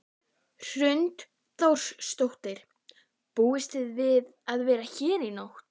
Hrund Þórsdóttir: Búist þið við að vera hérna í nótt?